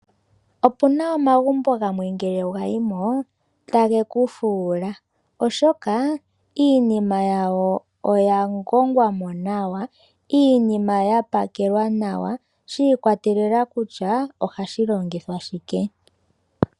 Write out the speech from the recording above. Opuna omagumbo gamwe ngele wayi mo tage kufuula. Oshoka iinima yawo oya ngongwamo nawa. Iinima ya pakelwa nawa shi ikwatelela kutya ohashi longithwa shike.